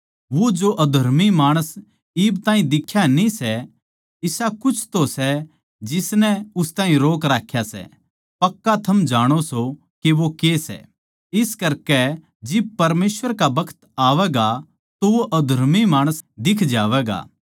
वो जो अधर्मी माणस इब ताहीं दिख्या न्ही सै क्यूँके इसा कुछ तो सै जिसनै उस ताहीं रोक राख्या सै पक्का थम जाणो सों के वो के सै इस करकै जिब परमेसवर का बखत आवैगा तो वो अधर्मी माणस दिख जावैगा